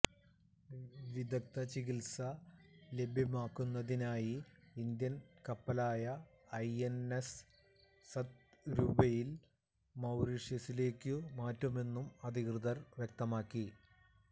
വിദഗ്ധ ചികില്സ ലഭ്യമാക്കുന്നതിനായി ഇന്ത്യന് കപ്പലായ ഐഎന്എസ് സത്പുരയില് മൌറീഷ്യസിലേക്കു മാറ്റുമെന്നും അധികൃതര് വ്യക്തമാക്കി